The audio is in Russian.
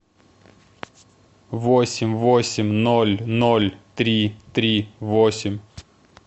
восемь восемь ноль ноль три три восемь